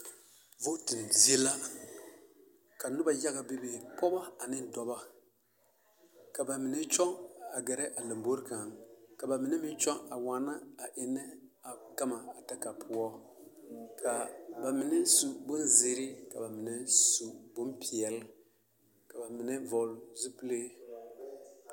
Vooti zie la ka noba yage bebe pɔgba ane dɔba ka ba mine kyoŋ a gɛre a laŋbore kang ka ba mine meŋ kyoŋ waana eŋne a gama daŋa poɔ ka ba mine su bonziire ka ba mine su bonpɛle ka ba mine vɔle zupile .